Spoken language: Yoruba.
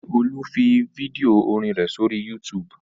Ṣé Olú fi fídíò orin rẹ̀ sí orí YouTube?